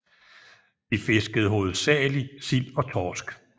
De fiskede hovedsageligt sild og torsk